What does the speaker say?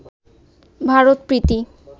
Bharat Preity